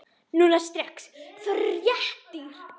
Núna strax- fyrir réttir.